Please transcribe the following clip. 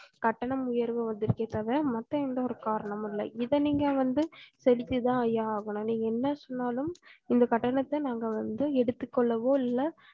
கட்டண உயர்வு வந்து இருக்கே தவிர மத்த எந்த ஒரு காரணமும் இல்ல இதை நீங்க வந்து செலுத்தித்தான் ஐயா ஆகணும் நீங்க என்ன சொன்னாலும் இந்த கட்டணத்த நாங்க வந்து எடுத்துக்கொள்ளவும் இல்ல